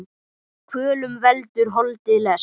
Kvölum veldur holdið lest.